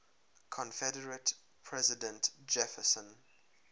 confederate president jefferson